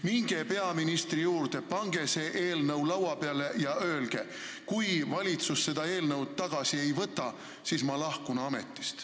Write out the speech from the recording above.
Minge peaministri juurde, pange see eelnõu laua peale ja öelge: kui valitsus seda eelnõu tagasi ei võta, siis ma lahkun ametist.